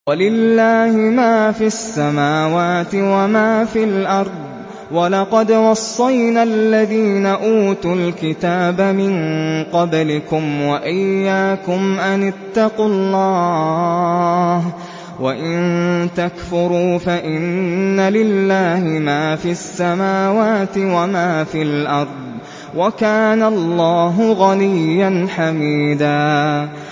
وَلِلَّهِ مَا فِي السَّمَاوَاتِ وَمَا فِي الْأَرْضِ ۗ وَلَقَدْ وَصَّيْنَا الَّذِينَ أُوتُوا الْكِتَابَ مِن قَبْلِكُمْ وَإِيَّاكُمْ أَنِ اتَّقُوا اللَّهَ ۚ وَإِن تَكْفُرُوا فَإِنَّ لِلَّهِ مَا فِي السَّمَاوَاتِ وَمَا فِي الْأَرْضِ ۚ وَكَانَ اللَّهُ غَنِيًّا حَمِيدًا